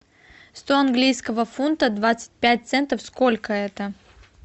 сто английского фунта двадцать пять центов сколько это